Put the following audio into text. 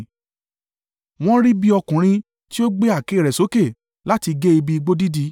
Wọ́n ń rí bí ọkùnrin tí ó gbé àáké rẹ̀ sókè láti gé igi igbó dídí.